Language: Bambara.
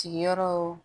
Sigiyɔrɔ